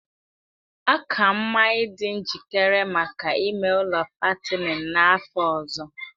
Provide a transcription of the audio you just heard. Ọ ka mma ịdị njikere maka ime ụlọ fattening n'afọ ọzọ